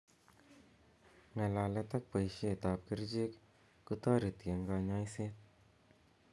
Ng'alalet ak boishet ab kerichek kotoreti eng kanyoiset.